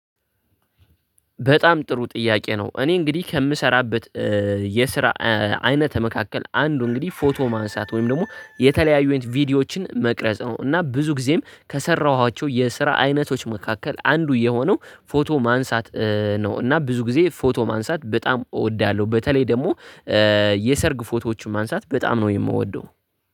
በጣም ጥሩ ጥያቄ ነው እኔ እንግዲህ ከምሰራበት የስራ አይነት መካከል አንዱ እንግዲህ ፎቶ ማንሳት ወይም ደግሞ የተለያዩን ቪዲዮዎችን መቅረጽ ነው። እና ብዙ ጊዜም ከሰራኋቸው የስራ አይነቶች መካከል አንዱ የሆነው ፎቶ ማንሳት ነው እና ብዙ ጊዜ ፎቶ ማንሳት በጣም እወዳለሁ። በተለይ ደግሞ የሰርግ ፎቶዎችን ማንሳት በጣም ነው የምወደው